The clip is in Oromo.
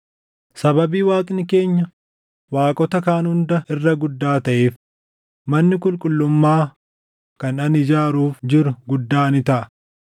“Sababii Waaqni keenya waaqota kaan hunda irra guddaa taʼeef, manni qulqullummaa kan ani ijaaruuf jiru guddaa ni taʼa.